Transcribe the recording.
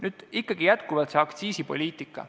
Nüüd aga ikkagi see aktsiisipoliitika.